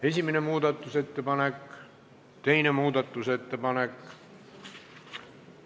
Esimene muudatusettepanek ja teine muudatusettepanek.